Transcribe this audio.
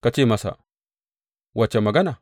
Ka ce musu, Wace magana?